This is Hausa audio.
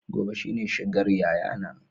Gobe shine shigar yayana